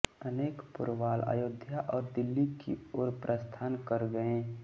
अनेक पोरवाल अयोध्या और दिल्ली की ओर प्रस्थान कर गए